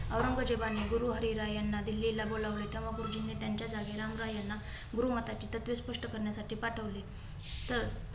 औरंगजेबाने गुरु हरीराय यांना दिल्लीला बोलावले. तेंव्हा गुरुजींनी त्यांच्या जागी रामरॉय याना गुरुमताची तत्त्वे स्पष्ट करण्यासाठी पाठवली. तर